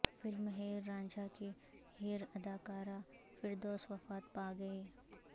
film Heer Ranjha کی ہیر اداکارہ فردوس وفات پاگئیں